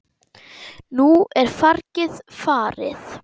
Nú er fargið farið.